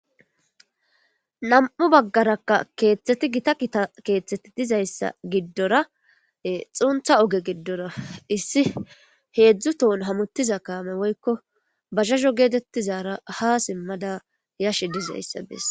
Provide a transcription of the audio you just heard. Nam'u baggarakka keethteti gita gita keethteti dizayssa giddora xuntha oge giddora issi heedzdzu tohn hamuttiza kaame woykko basaho geetettizaara ha simmada yashe dizayssa bes.